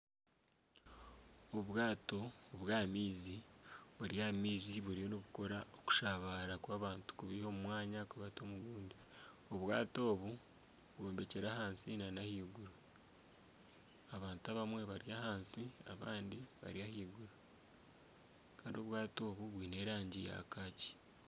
Obwaato obwa ah'amaizi buri ah'amaizi buriyo nibukora okushabaara kw'abantu kubaiha omu mwanya kubatwara omu gundi. Obwaato obu bwombekire ahansi nana ah'iguru. Abantu abamwe bari ahansi abandi bari ah'iguru Kandi obwaato obu bwiine erangi ya kaakyi.